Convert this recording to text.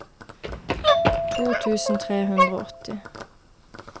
to tusen tre hundre og åtti